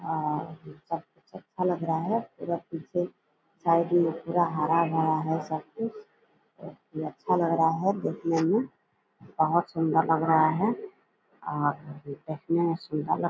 अ ये सब अच्छा लग रहा है। पूरा पीछे साइड में पूरा हरा-हरा है सब कुछ। ये अच्छा लग रहा है देखने में बहुत सुन्दर लग रहा है और एतना सुन्दर लग --